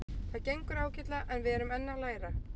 Það gengur ágætlega en við erum enn að læra.